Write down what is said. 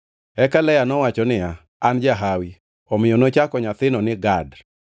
Eka Lea nowacho niya, “An jahawi.” Omiyo nochako nyathino ni Gad. + 30:11 Gad tiende ni Hawi kata kanyakla mar jolweny.